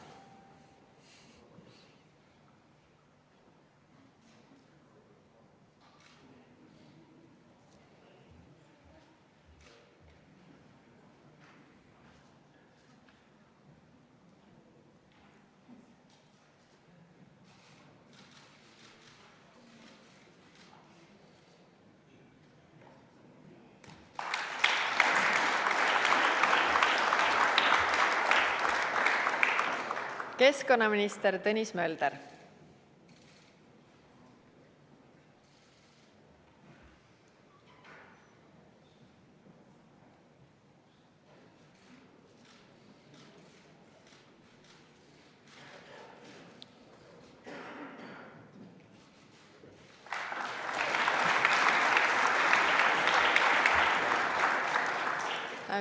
Keskkonnaminister Tõnis Mölder.